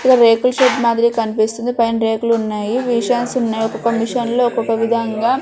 ఈడ రేకుల షెడ్ మాదిరి కన్పిస్తుంది పైన రేకులు ఉన్నాయి విషాన్స్ ఉన్నాయి ఒక్కోక మిషన్ లో ఒక్కొక్క విదంగా --